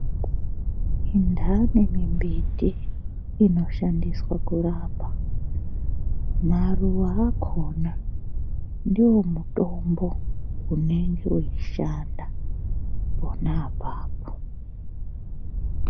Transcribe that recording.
Indani mimbiti inoshandiswa kurapa , maruwa akona ndiwo mutombo unenge wechishanda pona apapo.